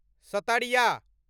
सत्तरिया